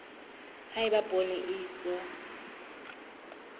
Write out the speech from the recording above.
ha eba poone e iswa